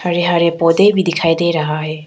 हरे हरे पौधे भी दिखाई दे रहा है।